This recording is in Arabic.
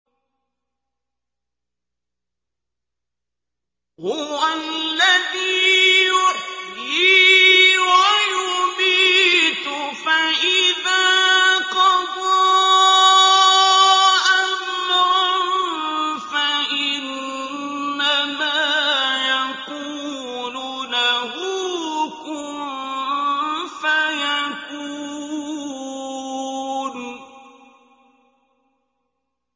هُوَ الَّذِي يُحْيِي وَيُمِيتُ ۖ فَإِذَا قَضَىٰ أَمْرًا فَإِنَّمَا يَقُولُ لَهُ كُن فَيَكُونُ